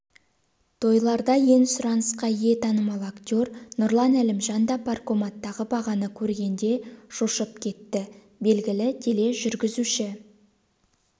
тойларда ең сұранысқа ие танымал актер нұрлан әлімжан да паркоматтағы бағаны көргенде шошып кетті белгілі тележүргізуші